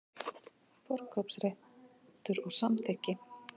Forkaupsréttur og samþykki.